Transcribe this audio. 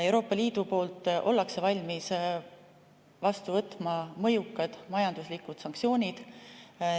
Euroopa Liit on valmis vastu võtma mõjukad majanduslikud sanktsioonid.